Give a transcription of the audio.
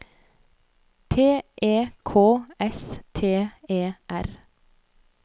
T E K S T E R